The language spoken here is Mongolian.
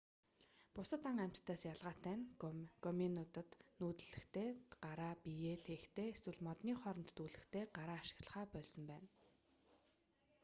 бусад ан амьтадаас ялгаатай нь гоминидууд нүүдлэхдээ гараа биеээ тээхдээ эсвэл модны хооронд дүүлэхдээ гараа ашиглахаа больсон байна